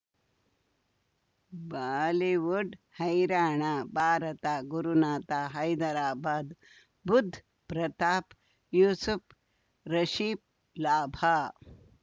Bollywood ಹೈರಾಣ ಭಾರತ ಗುರುನಾಥ ಹೈದರಾಬಾದ್ ಬುಧ್ ಪ್ರತಾಪ್ ಯೂಸುಫ್ ರಿಷಿಬ್ ಲಾಭ